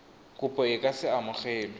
kopo e ka se amogelwe